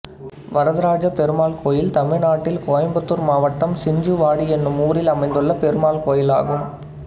வரதராஜப்பெருமாள் கோயில் தமிழ்நாட்டில் கோயம்புத்தூர் மாவட்டம் சிஞ்சுவாடி என்னும் ஊரில் அமைந்துள்ள பெருமாள் கோயிலாகும்